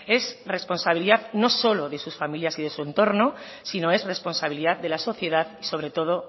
es responsabilidad no solo de sus familias y de su entorno sino es responsabilidad de la sociedad y sobre todo